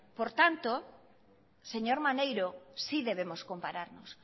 por tanto señor maneiro sí debemos compararnos